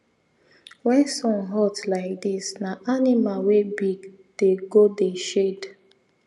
when sun hot like this na animal wey big dey go dey shade